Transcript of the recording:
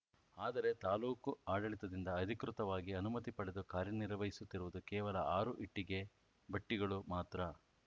ಆದರೆ ತಾಲೂಕು ಆಡಳಿತದಿಂದ ಅಧಿಕೃತವಾಗಿ ಅನುಮತಿ ಪಡೆದು ಕಾರ್ಯನಿರ್ವಹಿಸುತ್ತಿರುವುದು ಕೇವಲ ಆರು ಇಟ್ಟಿಗೆ ಭಟ್ಟಿಗಳು ಮಾತ್ರ